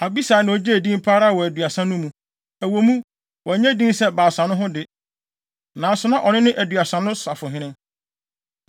Abisai na ogyee din pa ara wɔ Aduasa no mu. Ɛwɔ mu, wannye din sɛ Baasa no ho de, nanso na ɔno ne Aduasa no safohene.